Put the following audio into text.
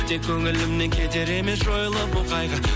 тек көңілімнен кетер емес жойылып бұл қайғы